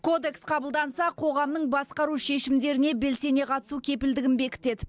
кодекс қабылданса қоғамның басқару шешімдеріне белсене қатысу кепілдігін бекітеді